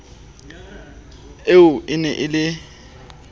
eo e ne e le